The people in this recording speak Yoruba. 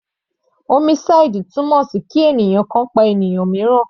Homicide túmọ̀ sí kí ènìyàn kan pa ènìyàn míìràn.